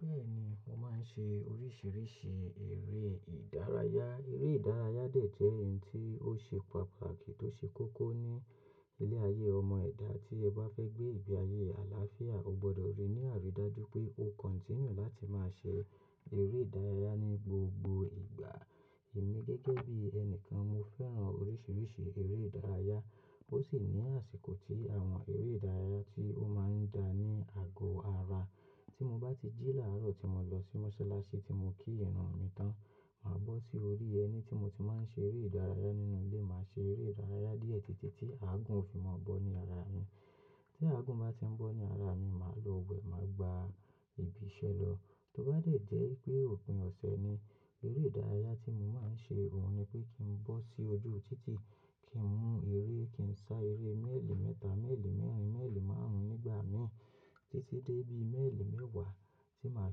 Bẹ́ẹ̀ni, mo máa ń ṣe oríṣiríṣi eré ìdárayá. Eré ìdárayá dè jẹ́ ẹ̀yin tí ó ṣe pàtàkì tó ṣe kókó ní ilé ayé ọmọ ẹ̀dá. Tí ẹ bá fẹ́ gbé ìgbé ayé àlàáfíà, o gbọdọ̀ rí ní àrídájú pé o continue láti máa ṣe eré ìdárayá ní gbogbo ìgbà. Èmi gẹ́gẹ́ bí ẹni kan, mo fẹ́ràn oríṣiríṣi eré ìdárayá. Ó sì ní àsìkò tí àwọn eré ìdárayá tí ó máa ń dá ní àgọ ara. Tí mo bá ti jí làárọ̀ tí mo lọ sí mọ́sálásí tí mo kí ìrun mi tán, màá bọ́ sí orí ẹní tí mo ti máa ń ṣe eré ìdárayá nínú ilé. Màá ṣe eré ìdárayá díẹ̀ títí tí aàgún òfin máa bọ́ ní ara mi. Tí aàgún bá ti ń bọ́ ní ara mi, màá lọ wẹ̀, màá gba ibi iṣẹ́ lọ. Tó bá dẹ̀ jẹ́ pé òpin ọ̀sẹ̀ ni, eré ìdárayá tí mo máa ń ṣe, òun ni pé kí n bọ́ sí ojú títí kí n mú eré, kí n sá eré méèlì mẹ́ta, méèlì mẹ́rin, méèlì márùn-ún nígbà mi títí dé bí i méèlì mẹ́wàá tí màá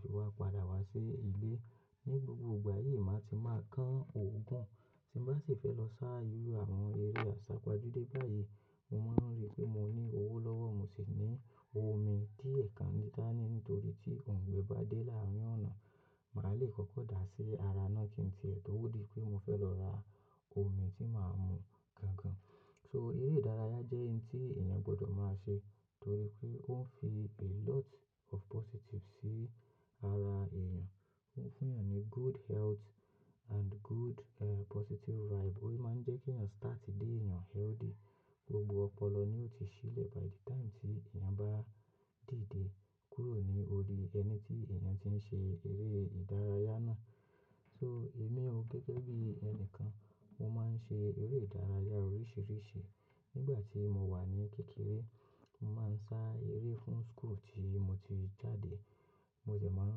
fi wá padà wá sí ilé. Ni gbogbo ìgbà yìí, màá ti máa kán òògùn. Tí mo bá sì fẹ́ lọ sá irú àwọn eré àsápajúdé báyìí, mo maa ri pé mo ní owó lọ́wọ́, mo sì ní omi díẹ̀ kan níta ni nítorí tí òun gbẹ́ bà dé láàárín ọ̀nà. Màá le kọ́kọ́ dà á sí ara náà kí n tìẹ̀ ẹ́ tó wù mí pé mo fẹ́ lọ ra omi tí màá mú gangan. So eré ìdárayá jẹ́ ẹ̀yin tí èèyàn gbọdọ̀ máa ṣe torí pé ó ń fi a lot of positive sí ara èèyàn. Ó ń fún èèyàn ní good health and good, eh, positive vibe. Ó sì máa ń jẹ́ kí èèyàn start dé èèyàn healthy. Gbogbo ọpọlọ ni ó ti ṣílẹ̀ by the time tí èèyàn bá dìde kúrò ní orí ẹni tí èèyàn ti ń ṣe eré ìdárayá náà. So èmi o gẹ́gẹ́ bí ẹni kan, mo máa ń ṣe eré ìdárayá oríṣiríṣi. Nígbà tí mo wà ní kékeré, mo máa ń sá eré fún school tí mo ti jáde. Mo jẹ̀ máa ń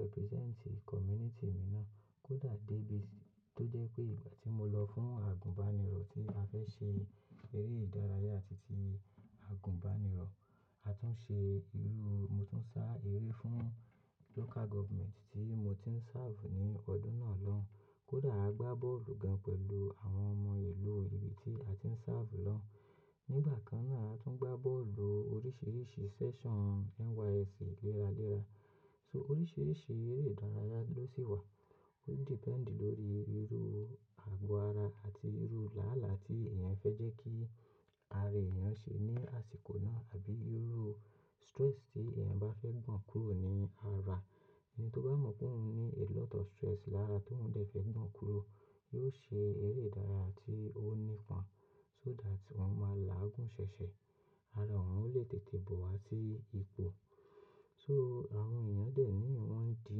represent community mi náà. Kódà débi tí ó jẹ́ pé ìgbà tí mo lọ fún àgùnbánirọ̀ tí a fẹ́ ṣe eré ìdárayá títí àgùnbánirọ̀, a tún ṣe irú, mo tún sá eré fún local government tí mo ti ń serve ní ọdún náà lọ. Kódà a gbá bọ́ọ̀lù gan pẹ̀lú àwọn ọmọ ìlú ibi tí a ti ń serve lọ. Nígbà kan náà, a tún gbá bọ́ọ̀lù oríṣiríṣi session NYSC léra léra. So oríṣiríṣi eré ìdárayá ló sì wà. Ó depend lórí irú àgọ́ ara àti irú làálàá tí èèyàn fẹ́ jẹ́ kí ara èèyàn ṣe ní àsìkò náà àbí irú stress tí èèyàn bá fẹ́ gbọ̀n kúrò ní ara. Eni tí ó bá mọ̀ pé òun ní a lot of stress lára tó ń dẹ̀ fẹ́ gbọ̀n kúrò, yóò ṣe eré ìdárayá tí ó nípa, so that òun máa làágùn ṣẹ̀ṣẹ̀. Ara òun ò lè tètè bọ̀ wá sí ipò. So àwọn èèyàn dè ní wọ́n ń di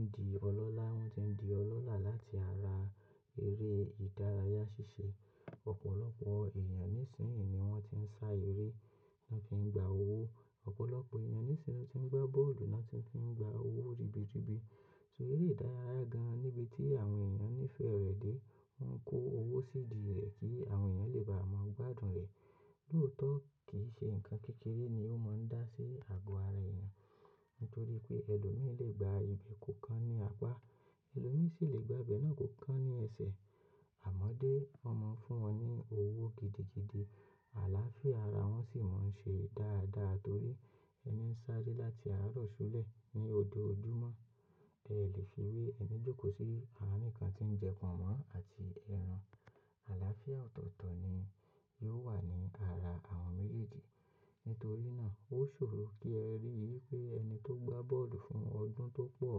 ń di ọlọ́lá, wọ́n ti ń di ọlọ́lá láti ara eré ìdárayá ṣíṣe. Ọ̀pọ̀lọpọ̀ èèyàn nísìnyí ni wọ́n ti ń sá eré, wọ́n fi ń gba owó. Ọ̀pọ̀lọpọ̀ èèyàn nísìnyíí tí ń gbá bọ́ọ̀lù, wọ́n ti ń fi gba owó ribiribi. So eré ìdárayá gan níbi tí àwọn èèyàn nífẹ̀ẹ́ rẹ̀ dé, wọ́n ń kó owó sí ìdí rẹ̀ kí àwọn èèyàn lè bá wọn gbádùn rẹ̀. Lóòótọ́ kì í ṣe nǹkan kékeré ni ó máa ń dá sí àgọ́ ara èèyàn. Nítorí pé ẹlòmíràn lè gba ibi kò kán ní apá, ẹlòmíràn sì lè gba ibe náà kò kán ní ẹsẹ̀. Àmọ́ dé, wọ́n mọ̀ ọ́n fún wọn ní owó gidigidi. Àlàáfíà ara wọn sì máa ń ṣe dáadáa torí ẹni ń sáré láti àárọ̀ súlẹ̀ ní òjoojúmọ́. Ẹ lè fi wí ẹni jókòó sí arin kan tí ń jẹ pọ̀nmọ́ àti ẹran. Àlàáfíà ọ̀tọ̀ọ̀tọ̀ ni yóò wà ní ara àwọn méjèèjì. Nítorí náà, ó ṣòro kí ẹ rí i pé ẹni tó gbá bọ́ọ̀lù fún ọdún tó pọ̀,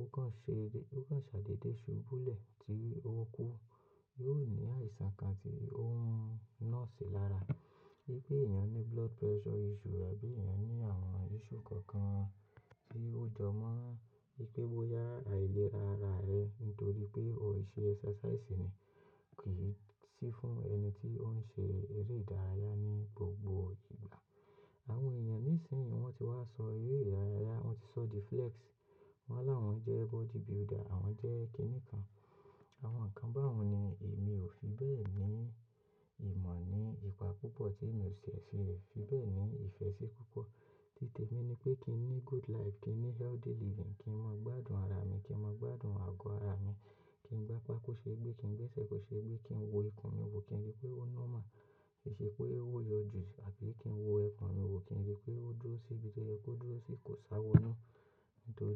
ó kàn ṣe, ó kàn ṣàdédé ṣubú lẹ̀ tí ó kú, yóò ní àìsàn kan tí ó ń nọ́ọ̀sì lára. Bí i pé èèyàn ní blood pressure issue àbí èèyàn ní àwọn issue kankan tí ó jọ mọ́, bí pé bóyá àìlera ara rẹ nítorí pé o kò ṣe exercise ni kì í sí fún ẹni tí ó ń ṣe eré ìdárayá ní gbogbo ìgbà. Àwọn èèyàn nísìnyí wọ́n ti wá sọ eré ìdárayá, wọ́n ti sọ the flex, wọ́n láwọn jẹ́ body builder, àwọn jẹ́ kíní kan, àwọn nǹkan bá wọn ni. Èmi ò fi bẹ́ẹ̀ ní ìmọ̀ ní ipa púpọ̀ tí èmi ò ṣe ṣe, fi bẹ́ẹ̀ ni ìfẹ́ ṣi púpọ̀. Títẹ̀ mi ni pé kí n ní good life, kí n ní healthy living, kí n mọ gbádùn ara mi, kí n mọ gbádùn àgọ́ ara mi, kí n gbá apa ko ṣe gbé, kí n gbé ẹsẹ̀ kò ṣe gbé, kí n wo ikùn mi wò kí n rí i pé ó normal. Kì í ṣe pé ó yọ jù àbí kí n wo ikùn mi wò kí n rí i pé ó dúró sí ibi tó yẹ kó dúró sí, kò sáwo nù nítorí.